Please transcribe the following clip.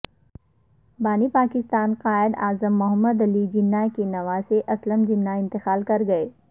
بانی پاکستان قائد اعظم محمد علی جناح کے نواسے اسلم جناح انتقال کر گئے